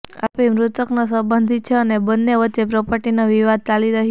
આરોપી મૃતકનો સંબંધી છે અને બંન્ને વચ્ચે પ્રોપર્ટીનો વિવાદ ચાલી રહ્યો હતો